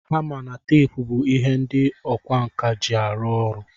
Hama na tape bu ihe ndi ọkwa nka ji arụ ọrụ.